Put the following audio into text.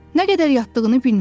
Nə qədər yatdığını bilmirdi.